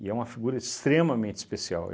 E é uma figura extremamente especial.